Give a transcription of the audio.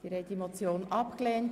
Sie haben die Motion abgelehnt.